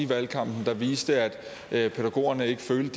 valgkampen der viste at pædagogerne ikke følte